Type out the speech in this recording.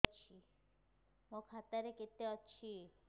ମୋ ଖାତା ରେ କେତେ ଅଛି